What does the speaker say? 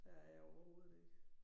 Der jeg overhovedet ikke